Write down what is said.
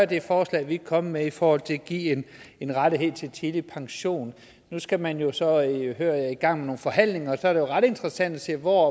det forslag vi er kommet med i forhold til at give en rettighed til tidlig pension nu skal man jo så hører jeg i gang med nogle forhandlinger og så er det ret interessant at se hvor